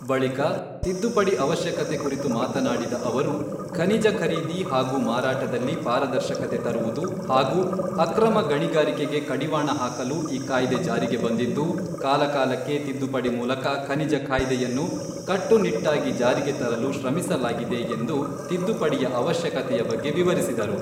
ಬಳಿಕ ತಿದ್ದುಪಡಿ ಅವಶ್ಯಕತೆ ಕುರಿತು ಮಾತನಾಡಿದ ಅವರು, ಖನಿಜ ಖರೀದಿ ಹಾಗೂ ಮಾರಾಟದಲ್ಲಿ ಪಾರದರ್ಶಕತೆ ತರುವುದು ಹಾಗೂ ಅಕ್ರಮ ಗಣಿಗಾರಿಕೆಗೆ ಕಡಿವಾಣ ಹಾಕಲು ಈ ಕಾಯ್ದೆ ಜಾರಿಗೆ ಬಂದಿದ್ದು, ಕಾಲಕಾಲಕ್ಕೆ ತಿದ್ದುಪಡಿ ಮೂಲಕ ಖನಿಜ ಕಾಯ್ದೆಯನ್ನು ಕಟ್ಟುನಿಟ್ಟಾಗಿ ಜಾರಿಗೆ ತರಲು ಶ್ರಮಿಸಲಾಗಿದೆ ಎಂದು ತಿದ್ದುಪಡಿಯ ಅವಶ್ಯಕತೆಯ ಬಗ್ಗೆ ವಿವರಿಸಿದರು.